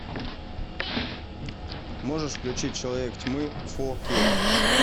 можешь включить человек тьмы фор кей